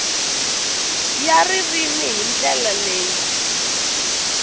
ya ririmi hi ndlela leyi